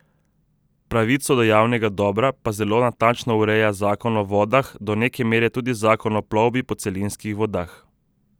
Pravico do javnega dobra pa zelo natančno ureja Zakon o vodah, do neke mere tudi Zakon o plovbi po celinskih vodah.